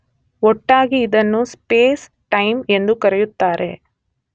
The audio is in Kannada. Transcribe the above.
ಒಟ್ಟಾಗಿ ಇದನ್ನು ಸ್ಪೇಸ್, ಟೈಮ್ ಎಂದು ಕರೆಯುತ್ತಾರೆ.